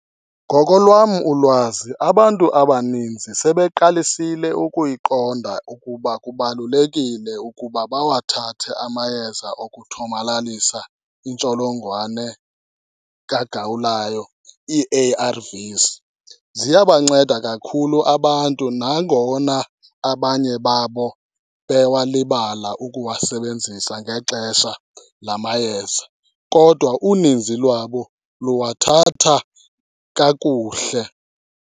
Ngokolwam ulwazi abantu abaninzi sebeqalisile ukuyiqonda ukuba kubalulekile ukuba bawathathe amayeza okuthomalalisa intsholongwane kagawulayo, ii-A_R_Vs. Ziyabanceda kakhulu abantu nangona abanye babo bewalibala ukuwasebenzisa ngexesha la mayeza, kodwa uninzi lwabo luwathatha kakuhle.